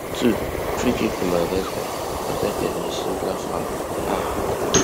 twofreekick to madagascar afta kelvin shindler foul um